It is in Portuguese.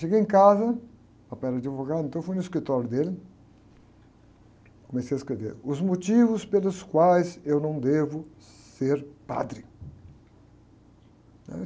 Cheguei em casa, papai era de advogado, então eu fui no escritório dele, comecei a escrever, os motivos pelos quais eu não devo ser padre, né?